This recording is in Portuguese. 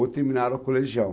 Ou terminaram o colegial.